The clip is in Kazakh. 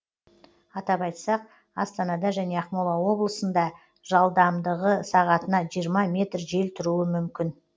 атап айтсақ астанада және ақмола облысында жалдамдығы сағатына жиырма метр жел тұруы мүмкін